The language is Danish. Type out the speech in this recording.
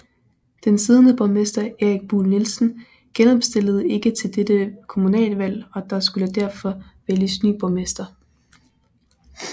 Den siddende borgmester Erik Buhl Nielsen genopstillede ikke til dette kommunalvalg og der skulle derfor vælges ny borgmester